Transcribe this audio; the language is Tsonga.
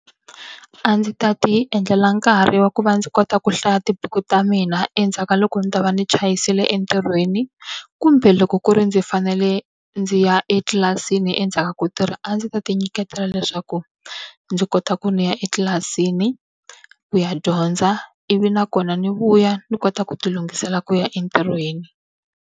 A ndzi ta ti endlela nkarhi wa ku va ndzi kota ku hlaya tibuku ta mina endzhaku ka loko ndzi ta va ndzi chayisile entirhweni. Kumbe loko ku ri ndzi fanele ndzi ya etlilasini endzhaku ka ku tirha a ndzi ta ti nyiketela leswaku, ndzi kota ku ni ya etlilasini ku ya dyondza ivi nakona ni vuya ni kota ku ti lunghisela ku ya entirhweni.